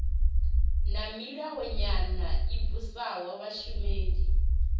na milayonyana i vhusaho vhashumeli